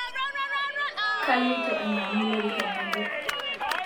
Kaloito ainyangu lorika ng'ejuk